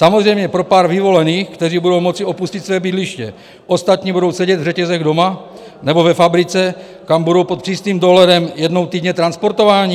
Samozřejmě pro pár vyvolených, kteří budou moci opustit své bydliště, ostatní budou sedět v řetězech doma nebo ve fabrice, kam budou pod přísným dohledem jednou týdně transportováni?